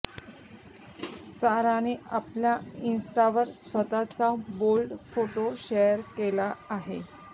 साराने आपल्या इन्स्टावर स्वतःचा बोल्ड फोटो शेअर केला आहे